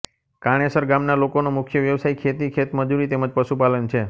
કાણેસર ગામના લોકોનો મુખ્ય વ્યવસાય ખેતી ખેતમજૂરી તેમ જ પશુપાલન છે